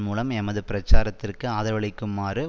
மூலம் எமது பிரச்சாரத்திற்கு ஆதரவளிக்குமாறு